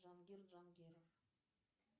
джангир джангиров